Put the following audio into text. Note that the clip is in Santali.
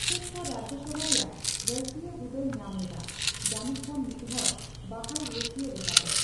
ᱟᱢᱵᱮᱫᱽᱠᱚᱨ ᱨᱟᱡᱡᱚᱥᱚᱵᱷᱟ ᱨᱮᱭᱟᱜ ᱨᱟᱹᱥᱤᱭᱟᱹ ᱦᱩᱫᱟᱹᱭ ᱧᱟᱢᱞᱮᱫᱟ, ᱡᱟᱹᱱᱤᱡᱠᱷᱟᱱ ᱢᱤᱫᱦᱚᱲ ᱵᱟᱦᱟᱞ ᱨᱟᱹᱥᱤᱭᱟᱹ ᱞᱮᱠᱟᱛᱮ ᱾